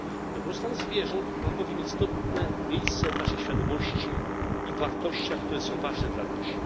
Dobrostan zwierząt ma bowiem istotne miejsce w naszej świadomości i wartościach, które są ważne dla ludzi.